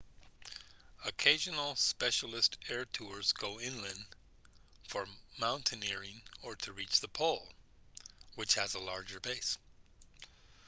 occasional specialist air tours go inland for mountaineering or to reach the pole which has a large base